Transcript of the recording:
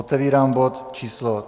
Otevírám bod číslo